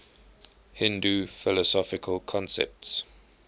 hindu philosophical concepts